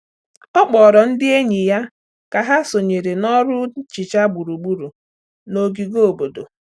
Ọ kpọrọ ndị enyi ya ka ha sonyere na ọrụ nhicha gburugburu n’ogige obodo.